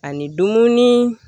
Ani dumuni